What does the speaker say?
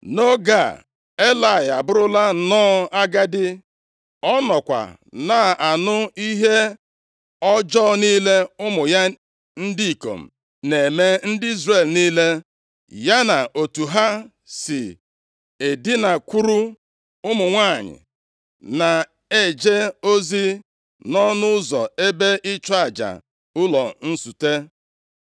Nʼoge a, Elayị abụrụla nnọọ agadi. Ọ nọkwa na-anụ ihe ọjọọ niile ụmụ ya ndị ikom na-eme ndị Izrel niile, ya na otu ha si edinakwuru ụmụ nwanyị na-eje ozi nʼọnụ ụzọ ebe ịchụ aja ụlọ nzute.